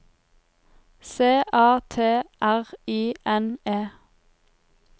C A T R I N E